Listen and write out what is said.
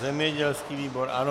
Zemědělský výbor, ano.